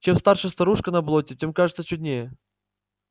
чем старше старушка на болоте тем кажется чуднее